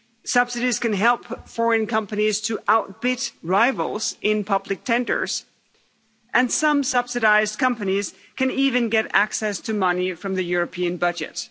subsidies can help foreign companies to outbid rivals in public tenders and some subsidised companies can even get access to money from the European budget.